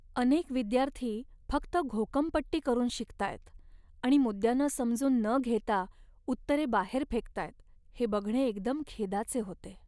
अनेक विद्यार्थी फक्त घोकंपट्टी करून शिकतायत आणि मुद्द्यांना समजून न घेता उत्तरे बाहेर फेकतायत हे बघणे एकदम खेदाचे होते.